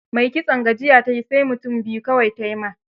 Mai kitson gajiya ta yi, sai mutum biyu kawai ta yi wa.